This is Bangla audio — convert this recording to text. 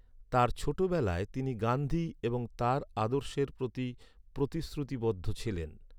তার ছোট বেলায়, তিনি গান্ধী এবং তার আদর্শের প্রতি প্রতিশ্রুতিবদ্ধ ছিলেন।